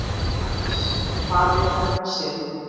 Hannes, hvað er þetta sem?